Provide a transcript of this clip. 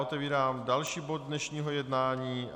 Otevírám další bod dnešního jednání